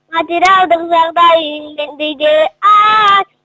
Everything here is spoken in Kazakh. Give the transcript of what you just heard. материалдық жағдайың келмей ме ааа